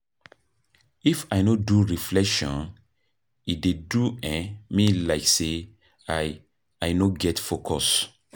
If I no do reflection, e dey do um me like sey I I no get focus.